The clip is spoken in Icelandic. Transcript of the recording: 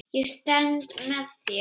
Ég stend með þér.